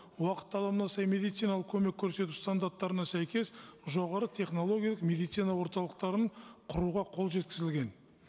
уақыт талабына сай медициналық көмек көрсету стандарттарына сәйкес жоғары технологиялық медицина орталықтарын құруға қол жеткізілген